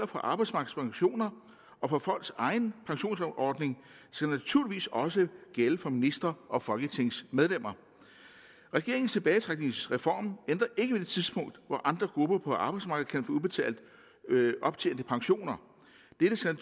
for arbejdsmarkedspensioner og for folks egne pensionsordninger skal naturligvis også gælde for ministre og folketingsmedlemmer regeringens tilbagetrækningsreform ændrer ikke ved det tidspunkt hvor andre grupper på arbejdsmarkedet udbetalt optjente pensioner dette skal